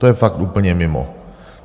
To je fakt úplně mimo.